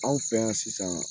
Anw fɛ yan sisan